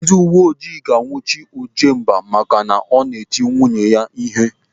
Ndị uwe ojii ga-anwụchi Ojemba maka na ọ na-eti nwunye ya ihe.